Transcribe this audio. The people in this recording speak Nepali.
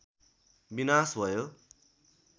विनाश भयो